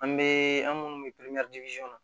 An bɛ an minnu bɛ